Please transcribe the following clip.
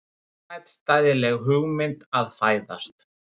Ómótstæðileg hugmynd að fæðast.